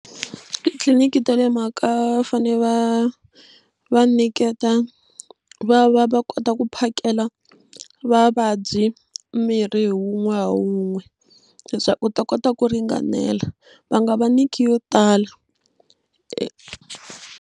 Titliliniki ta le mhaka va fane va va nyiketa va va va kota ku phakela vavabyi mirhi hi wun'we hi wun'we leswaku wu ta kota wu ringanela va nga va nyiki yo tala.